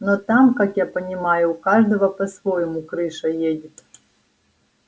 но там как я понимаю у каждого по-своему крыша едет